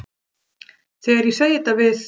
Þegar ég segi þetta við